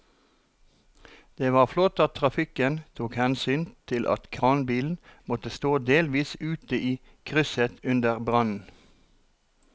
Det var flott at trafikken tok hensyn til at kranbilen måtte stå delvis ute i krysset under brannen.